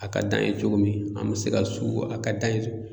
A ka d'an ye cogo min an mi se ka su a ka d'an ye